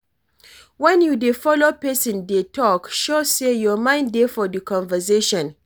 When you dey follow person dey talk, show sey your mind dey for di conversation